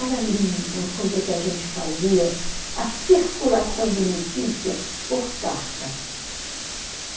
Era lindo, uma coisa que a gente fazia, a circulação de notícia por carta.